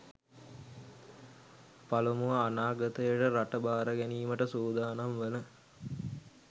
පළමුව, අනාගතය රට භාර ගැනීමට සූදානම් වන